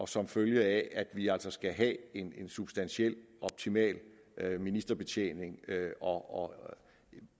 som følge af at vi altså skal have en substantiel optimal ministerbetjening og